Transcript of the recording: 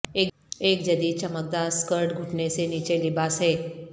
ایک جدید چمکدار سکرٹ گھٹنے سے نیچے لباس ہے